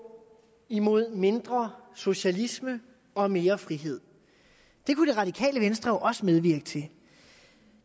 imod mindre socialisme og mere frihed det kunne det radikale venstre jo også medvirke til